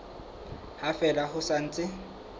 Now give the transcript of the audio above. ha fela ho sa ntse